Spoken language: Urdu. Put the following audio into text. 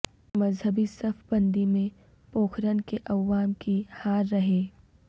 مذہبی صف بندی میں پوکھرن کے عوام کی ہار رہے